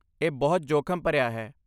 ਇਹ ਬਹੁਤ ਜੋਖਮ ਭਰਿਆ ਹੈ।